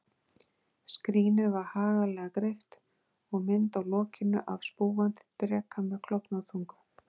Skrínið var haglega greypt, og mynd á lokinu af spúandi dreka með klofna tungu.